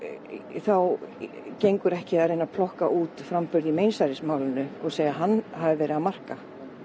þá gengur ekki að reyna að plokka út framburð í meinsærismálinu og segja hann hafa verið að marka